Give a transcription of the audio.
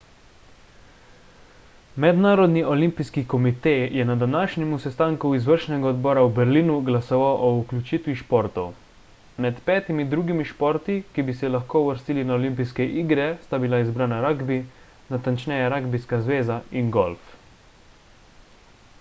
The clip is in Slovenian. mednarodni olimpijski komite je na današnjem sestanku izvršnega odbora v berlinu glasoval o vključiti športov med petimi drugimi športi ki bi se lahko uvrstili na olimpijske igre sta bila izbrana ragbi natančneje ragbijska zveza in golf